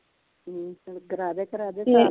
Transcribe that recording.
phone ਕਰਾਦੇ ਕਰਾਦੇ recharge